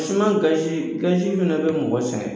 fa na bɛ mɔgɔ sɛngɛ